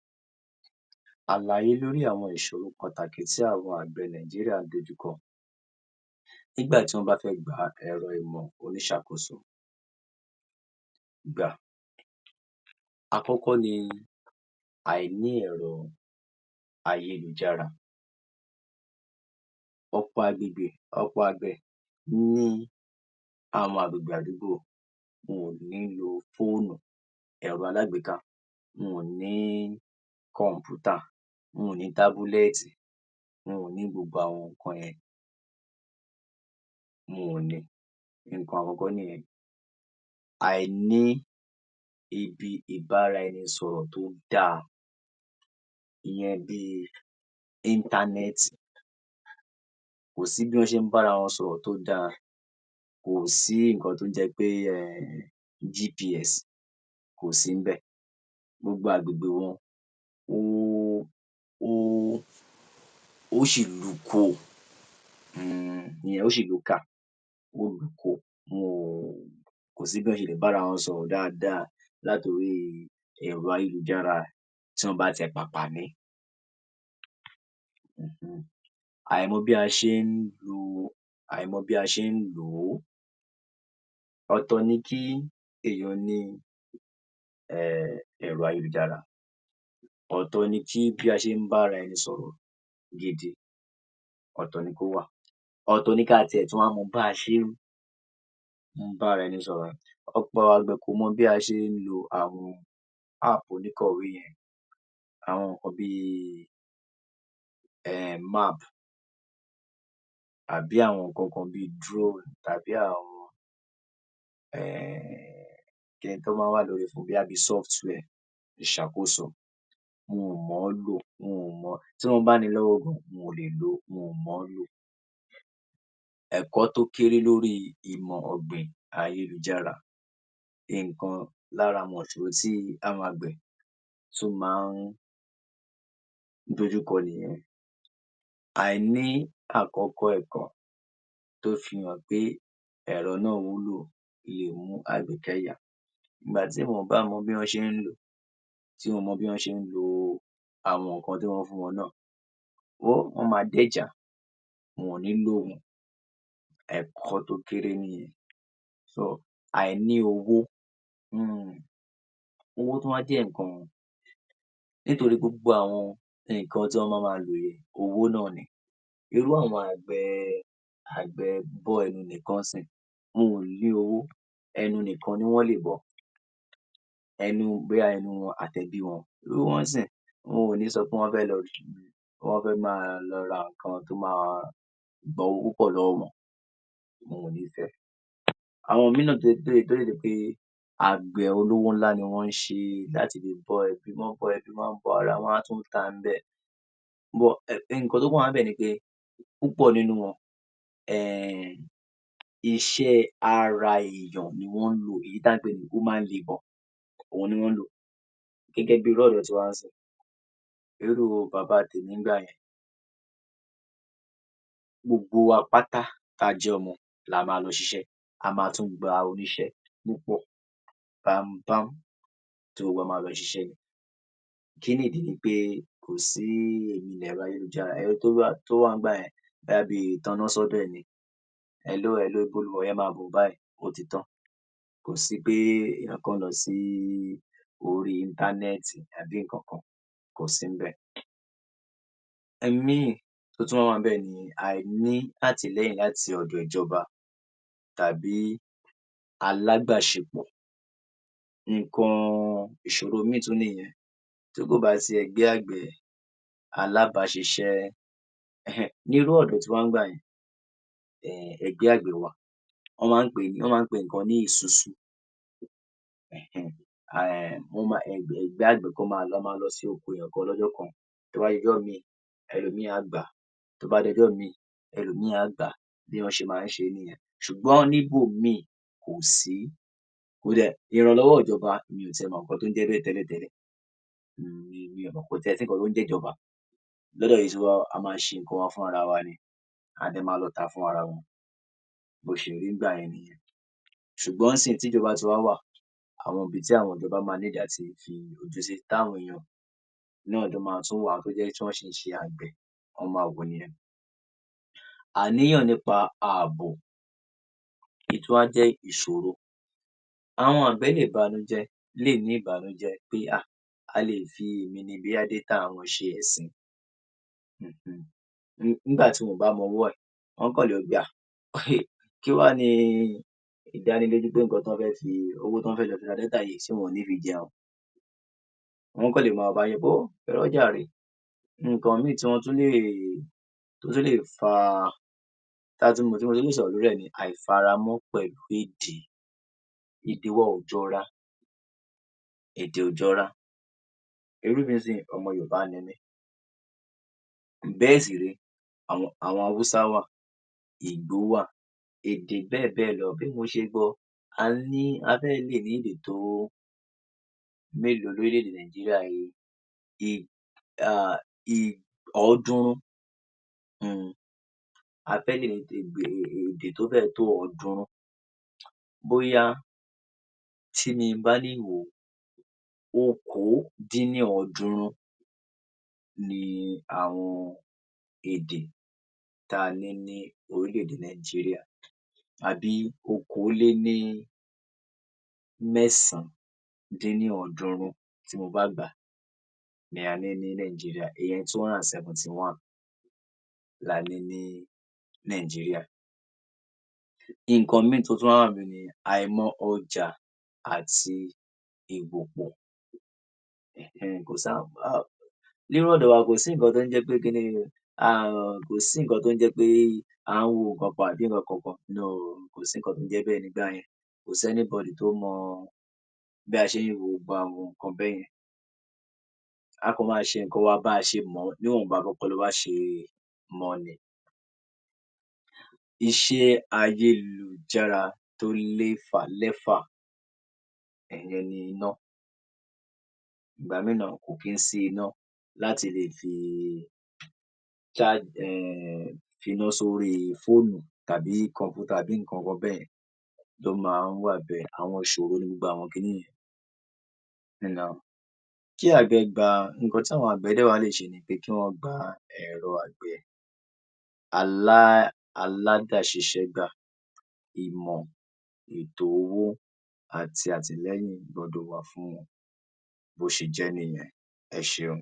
00582 Kí ń wá s̩àlàyé àwo̩n àmì tí àgbè orílè̩-èdè Nàìjíríà gbó̩dò̩ rí tí wó̩n ma fi lè mò̩ pé kó̩ḿpóòsì (Yorùbá) wo̩n ti kó̩ḿpóòsì (Yorùbá) wo̩n péyè ó sì ti s̩e é lò. Àkó̩kó̩ ni ààwò̩ dúdú ilè̩ - kó̩ḿpóòsì (Yorùbá) tó péye máa dàbí ilè̩ dúdú, ó máa ro̩rùn tó sì dùn yàlá pè̩lú o̩wó̩ tàbí ìran, nǹkan àkó̩kó̩ tí wó̩n gbo̩dò̩ wò nìye̩n. Ààwo̩ è̩ ó máa dúdú ni, ààwò̩ compose máa dúdú bi ilè̩ bí ibi àwo̩n agbègbè rè̩ tó máa ń dúdú ye̩n bí ó s̩e máa ń dúdú nìye̩n. Ìríra ro̩rùn tééyàn bá fi só̩wó̩ kì í ní ewé tuntun, igi tàbí nǹkan tí kò tíì bàjé̩ pátápátá gbogbo e̩, è̩hé̩n-è̩n, ó máa ń da tééyàn ó máa bàjé̩ dáadáa bí ilè̩ gbígbó ni. Nǹkan ye̩n tún níye̩n. Nǹkan mìíì tí àgbè̩ tún máa wò ni kò kí ń ní òórùn búburú, compose tó bá dáa tó péye, tó ti s̩e é lò kì í ní òórùn búburú. Kí ní òórùn, ó gbo̩dò̩ ní òórùn ilè̩ tútù tó dùn-ún gbà, òórùn rè̩ ilè tútù ó gbo̩dò̩, tó bá ni òórùn ilè̩ tó dùn-ún gbà è̩hé̩n-è̩n, a lè ní kó̩ḿpóòsì (Yorùbá) ó ti dáa. Tútù bé̩ye̩n tó bá péye, inú kó̩ḿpóòsì (Yorùbá) kò ní gbóná mó̩. Mo ti so̩ síwájú nínú fó̩nrán mi kan síwájú tí compose bá dáa kì í gbóná mó̩. Nǹkan mìíì tí wó̩n ma tún wò ni kò ní ní kòkòrò tó léwu, kò kí ń ní àwon kòkòrò tó léwu àwo̩n kòkòrò tó lè ba nǹkan ò̩gbìn jé̩. Àwo̩n kòkòrò kan bí èkúté àwo̩n kòkòrò bíi kòkòrò tó lè ba nǹkan jé̩ kò kí ń sí ńbè̩ èyí ni pé kòkòrò tó bá ní ewu, èhé̩n-è̩n. Nǹkan mìíì téèyàn tún lè wò ni àyè̩wò irúgbìn àyè̩wò irúgbìn téèyàn bá ti wo àwo̩n irúgbìn téèyàn le gbìn, báwo ni àwo̩n irúgbìn náà s̩e s̩e dáadáa sí, è̩hé̩n? Àyè̩wò irúgbìn yìí tí wó̩n gbo̩dò̩ wò òhun nìye̩n. Àwo̩n nǹkan mìíì, orís̩irís̩i nǹkan ni èèyàn máa wò, àyè̩wò irúgbìn náà sì jé̩ nǹkan ńbè̩. Kò ní èròjà tó máa dáké̩, age̩mo̩ um. Àwo̩n kòkòrò kò ní máa run àwo̩n èròjà bíi e̩ mò̩ pé ó ní nǹkan tí a máa ń pè ní àmóníà (Yorùbá) láéláé. Tó bá ní àwo̩n òórùn àmòníà (Yorùbá) ye̩n ìye̩n ló máa ń rùn bí ìtò̩ kò péye nìye̩n kò tíì péye nìye̩n, sùgbó̩n tí ó bá ti pé dáadáa tí wó̩n lè lò kò nì ní irú àwo̩n òórùn ye̩n. Mo ti so̩ sínu fó̩nrán mi kan síwájú pé àkókò náà tún jé̩ nǹkan pàtàkì láti le tètè dá ibi tí ó bá s̩e é lò àbí kó s̩e bí ibi ilè̩ tó bá gbóná ó pé̩ jù bóyá bi láàrin ò̩sè̩ mé̩fà sí ò̩sè̩ mé̩jo̩ but nínú àwo̩n ilè̩ tó bá tutù ó máa tó bi os̩ù mé̩ta sị os̩ù mé̩fà. àwo̩n nǹkan àkàns̩e tí a máa ń mò̩ ni pé tó bá dàbí ilè̩ dúdú, tútù tí kò dè̩ rùn, tí kò sì ní àwo̩n ewé tuntun, um, kóńpóòsì(Yorùbá) wa ti s̩etán fún lílò nìye̩n. Bó s̩e jé̩ níye̩n.